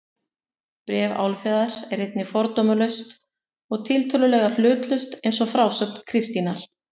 Bréf Álfheiðar er einnig fordómalaust og tiltölulega hlutlaust eins og frásögn Kristínar.